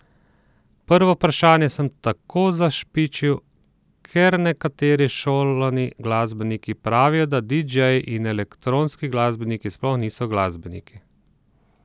Prvo vprašanje sem tako zašpičil, ker nekateri šolani glasbeniki pravijo, da didžeji in elektronski glasbeniki sploh niso glasbeniki.